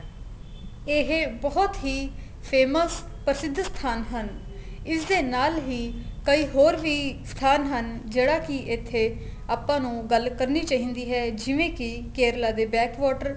ਇਹ ਬਹੁਤ ਹੀ famous ਪ੍ਰਸਿੱਧ ਸਥਾਨ ਹਨ ਇਸ ਦੇ ਨਾਲ ਹੀ ਕਈ ਹੋਰ ਵੀ ਸਥਾਨ ਹਨ ਜਿਹੜਾ ਕੀ ਇੱਥੇ ਆਪਾਂ ਗੱਲ ਕਰਨੀ ਚਾਹੀਦੀ ਏ ਜਿਵੇਂ ਕੀ ਕੇਰਲਾ ਦੇ back water